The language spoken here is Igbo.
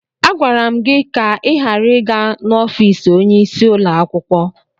Agwara m gị ka ị ghara ị gaa n'ọfis onyeisi ụlọakwụkwọ!